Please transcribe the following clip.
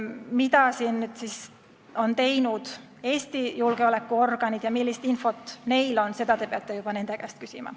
Mida on teinud Eesti julgeolekuorganid ja millist infot neil on, seda peate juba nende käest küsima.